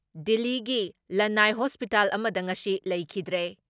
ꯗꯤꯜꯂꯤꯒꯤ ꯂꯟꯅꯥꯏ ꯍꯣꯁꯄꯤꯇꯥꯜ ꯑꯃꯗ ꯉꯁꯤ ꯂꯩꯈꯤꯗ꯭ꯔꯦ ꯫